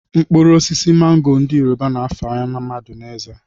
Mkpụrụosisi mango ndị yoruba na-afara mmadụ eze